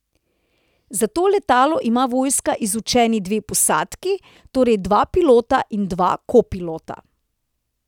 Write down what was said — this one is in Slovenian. Za to letalo ima vojska izučeni dve posadki, torej dva pilota in dva kopilota.